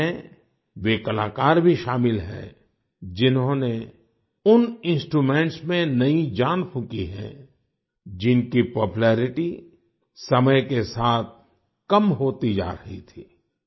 इनमें वे कलाकार भी शामिल हैं जिन्होंने उन इंस्ट्रूमेंट्स में नई जान फूंकी है जिनकी पॉपुलेरिटी समय के साथ कम होती जा रही थी